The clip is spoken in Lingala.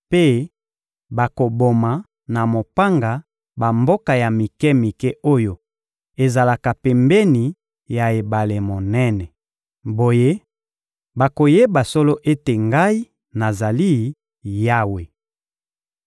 mpe bakoboma na mopanga bamboka ya mike-mike oyo ezalaka pembeni ya ebale monene. Boye, bakoyeba solo ete Ngai, nazali Yawe.